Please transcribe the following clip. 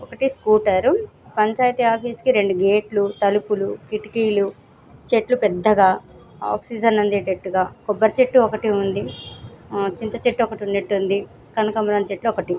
ఒక్కటి scooter panchayat office కి రెండు గేట్లు తలుపులు కిటికీలు చెట్లు పెద్దగా ఆక్సిజన్ అందే టట్టుగా కొబ్బరి చెట్టు ఒకటి ఉంది చింత చెట్టు ఒకటి ఉన్నట్టుంది కనకాంబరం చెట్టు ఒకటి